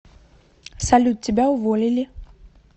салют тебя уволили